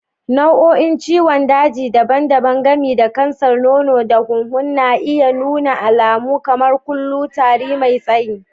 Nau'o'in ciwon daji daban-daban, gami da kansar nono da hunhu, na iya nuna alamu kamar kullu, tari mai tsayi.